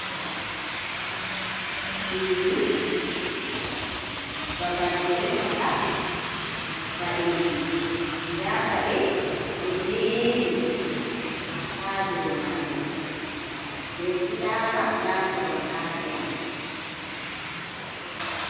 Suudu, babal be resata paɗeji da paɗe do jeeri ha dou maajum be fulawa da korwal ha sera.